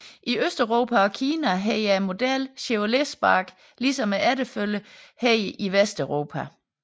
I Østeuropa og Kina hedder modellen Chevrolet Spark ligesom efterfølgeren hedder i Vesteuropa